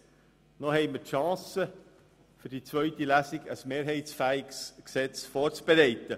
das StG. Noch haben wir die Chance, für die zweite Lesung ein mehrheitsfähiges Gesetz vorzubereiten.